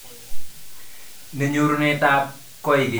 Ne nyorunetab koikeny netwoe kaweet ni